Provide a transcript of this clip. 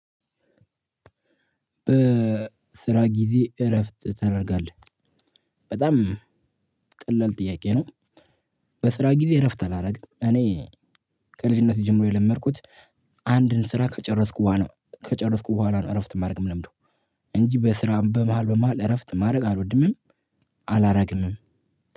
"በስራ ጊዜ እረፍት ታደርጋለህ?" በጣም ጥያቄ ነው፣ በስራ ጊዜ እረፍት አላደርግም። እኔ ከልጅነቴ ጀምሮ የለመድኩት አንድን ስራ ከጨረስኩ በኋላ ከጨረስኩ በኋላ ነው እረፍት ማድረግ የምለምደው፤ እንጂ በስራ በመሃል በመሃል እረፍት ማድረግ አልወድምም አላረግምም።